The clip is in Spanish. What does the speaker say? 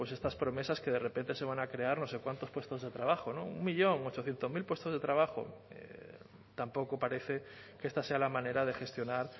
pues estas promesas que de repente se van a crear no sé cuántos puestos de trabajo no un millón ochocientos mil puestos de trabajo tampoco parece que esta sea la manera de gestionar